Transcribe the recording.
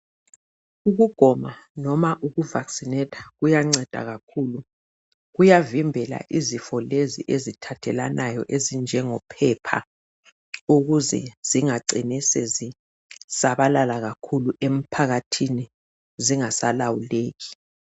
Ukugoba loba uku vakisinetha kuyanceda kakhulu. Kuyavimbela izifo lezi ezithathelwanayo ezinjengo phepha ukuze zingacini sezisabalala kakhulu emphakathini zingasalawuleki